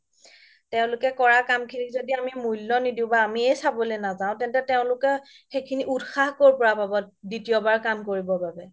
তেওলোকে কৰা কাম খিনি যদি আমি মুল্য নিদিও বা আমিয়ে চাব নাজাও তেন্তে তেওলোকে সেইখিনি উতসাহ ক'ৰ পৰা পাব দ্বিতীয়বাৰ কাম কৰিবৰ বাবে